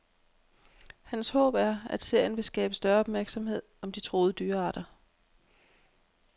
Hans håb er, at serien vil skabe større opmærksomhed om de truede dyrearter.